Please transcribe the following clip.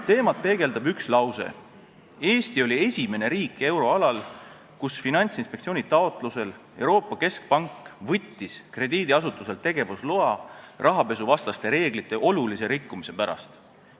Teemat peegeldab üks lause: Eesti oli esimene riik euroalal, kus Finantsinspektsiooni taotlusel Euroopa Keskpank võttis krediidiasutuselt tegevusloa rahapesuvastaste reeglite olulise rikkumise pärast.